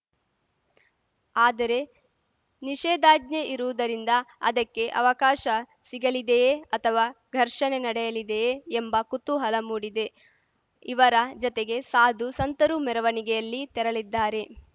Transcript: ಆದರೆ ನಿಷೇಧಾಜ್ಞೆ ಇರುವುದರಿಂದ ಅದಕ್ಕೆ ಅವಕಾಶ ಸಿಗಲಿದೆಯೇ ಅಥವಾ ಘರ್ಷಣೆ ನಡೆಯಲಿದೆಯೇ ಎಂಬ ಕುತೂಹಲ ಮೂಡಿದೆ ಇವರ ಜತೆಗೆ ಸಾಧು ಸಂತರೂ ಮೆರವಣಿಗೆಯಲ್ಲಿ ತೆರಳಲಿದ್ದಾರೆ